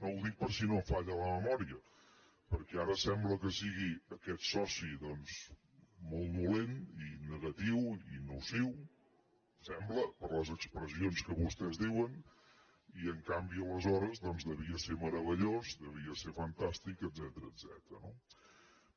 no ho dic per si no em falla la memòria perquè ara sembla que sigui aquest soci doncs molt dolent i negatiu i nociu sembla per les expressions que vostès diuen i en canvi aleshores doncs devia ser meravellós devia ser fantàstic etcètera no